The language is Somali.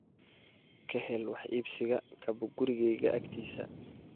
ka hel wax iibsiga kabo gurigayga agtiisa